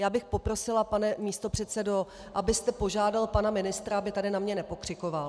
Já bych poprosila, pane místopředsedo, abyste požádal pana ministra, aby tady na mě nepokřikoval.